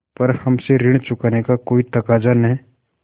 पर हमसे ऋण चुकाने का कोई तकाजा न